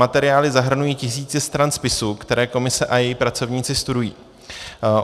Materiály zahrnují tisíce stran spisu, které komise a její pracovníci studují.